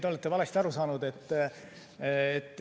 Te olete valesti aru saanud.